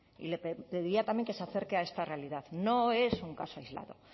y le pediría también que se acerque a esta realidad no es un caso aislado